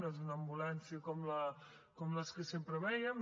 no és una ambulància com les que sempre vèiem